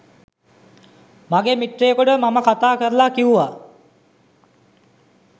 මගේ මිත්‍රයෙකුට මම කතාකරලා කිව්වා